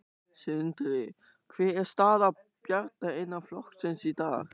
Sindri: Hver er staða Bjarna innan flokksins í dag?